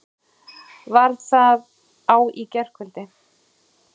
Var það á í gærkvöldi?